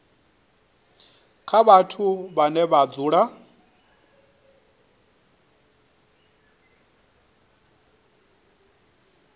kha vhathu vhane vha dzula